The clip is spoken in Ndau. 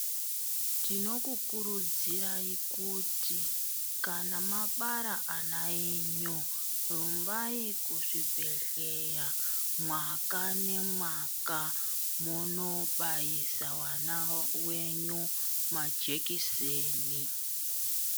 Tinokukurudzirai kuti kana mabara ana enyu, rumbai kuzvibhedhlera mwaka nemwaka mondobayisa vana venyu majekiseni.